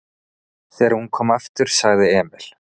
Þegar hún kom aftur sagði Emil